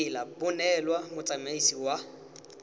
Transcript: tsela bo neelwa motsamaisi wa